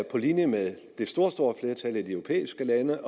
på linje med det store store flertal af de europæiske lande